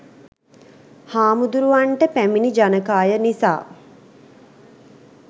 හාමුදුරුවන්ට පැමිණි ජනකාය නිසා